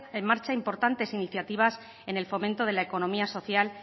en marcha importantes iniciativas en el fomento de la economía social